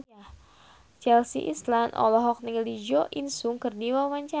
Chelsea Islan olohok ningali Jo In Sung keur diwawancara